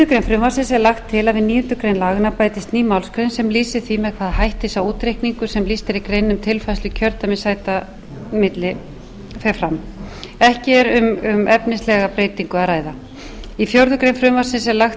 frumvarpsins er lagt til að við níundu grein laganna bætist ný málsgrein sem lýsi því með hvaða hætti sá útreikningur sem lýst er í greininni um tilfærslu kjördæmissæta milli fer fram í fjórða grein frumvarpsins er lagt til